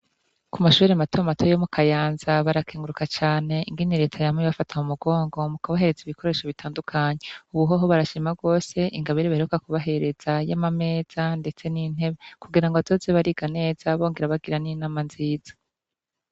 Ku mashure mato mato yo mu kayanza barakenguruka cane ingene reta yamye ibafata mu umugongo mu kubahereza ibikoresho bitandukanye ubuhoho barashima bose ingabire baheruka ku bahereza y'amameza ndetse n'intebe kugira ngo bazoze bariga neza, bongera bagira n'inama nziza.